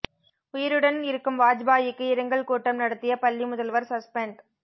உயிருடன் இருக்கும் வாஜ்பாயிக்கு இரங்கல் கூட்டம் நடத்திய பள்ளி முதல்வர் சஸ்பெண்ட்